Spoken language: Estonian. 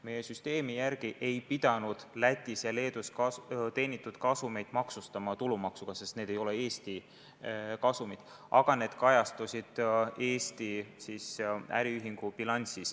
Meie süsteemi järgi ei pidanud Lätis ja Leedus teenitud kasumeid maksustama tulumaksuga, sest need ei ole Eesti kasumid, aga need kajastusid Eesti äriühingu bilansis.